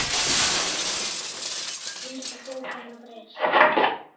Hvernig hefur vinnsla bókanna breyst?